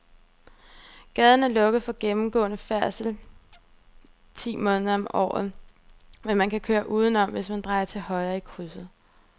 Gaden er lukket for gennemgående færdsel ti måneder om året, men man kan køre udenom, hvis man drejer til højre i krydset.